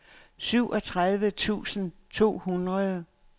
syvogtredive tusind to hundrede